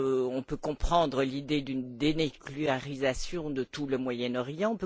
On peut aussi comprendre l'idée d'une dénucléarisation de tout le Moyen Orient.